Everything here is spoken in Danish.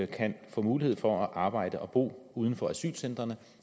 kan få mulighed for at arbejde og bo uden for asylcentrene